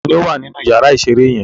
Ta ni ó wà nínú ìyàrá-ìṣeré yẹn?